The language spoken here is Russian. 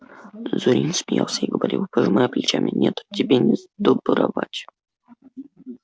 зурин смеялся и говорил пожимая плечами нет тебе не сдобровать